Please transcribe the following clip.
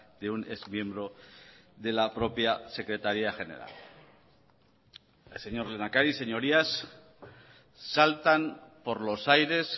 de un exmiembro de la propia secretaría general señor lehendakari señorías saltan por los aires